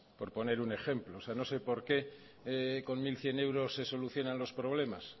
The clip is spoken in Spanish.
por poner un ejemplo o sea no sé porqué con mil cien euros se solucionan los problemas